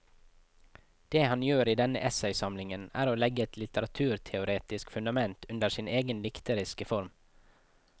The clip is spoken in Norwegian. Det han gjør i denne essaysamlingen er å legge et litteraturteoretisk fundament under sin egen dikteriske form.